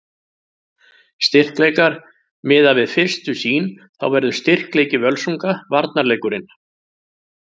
Styrkleikar: Miðað við fyrstu sýn þá verður styrkleiki Völsunga varnarleikurinn.